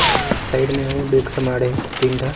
और साइड में हो डेग समान हे तीन ठा